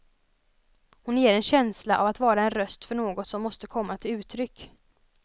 Hon ger en känsla av att vara en röst för något som måste komma till uttryck.